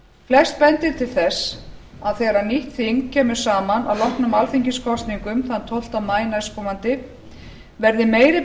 flest bendir til þess að þegar nýtt þing kemur saman að loknum alþingiskosningum þann tólfta maí næstkomandi verði meiri